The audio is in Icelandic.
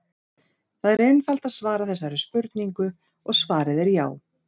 Það er einfalt að svara þessari spurningu og svarið er já!